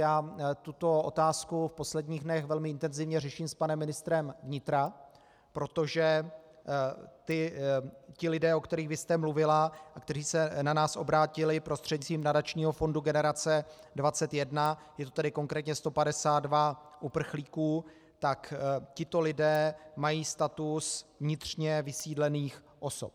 Já tuto otázku v posledních dnech velmi intenzivně řeším s panem ministrem vnitra, protože ti lidé, o kterých vy jste mluvila a kteří se na nás obrátili prostřednictvím nadačního fondu Generace 21, je to tedy konkrétně 152 uprchlíků, tak tito lidé mají status vnitřně vysídlených osob.